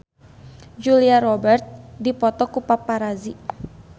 Julia Robert dipoto ku paparazi